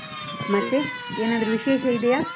ಮತ್ತೆ, ಏನಾದ್ರು ವಿಶೇಷ ಇದೆಯಾ?